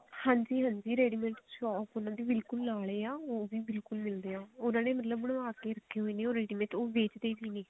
ਹਾਂਜੀ ਹਾਂਜੀ ready mate shop ਉਹਨਾ ਦੀ ਬਿਲਕੁਲ ਨਾਲ ਹੀ ਆ ਉਹ ਵੀ ਬਿਲਕੁਲ ਨੇੜੇ ਆ ਇਹਨਾ ਨੇ ਮਤਲਬ ਬਣਵਾ ਕੇ ਰੱਖੇ ਹੋਏ ਨੇ ਉਰੇ ਜਿਵੇਂ ਉਹ ਵੇਚਦੇ ਵੀ ਨੇ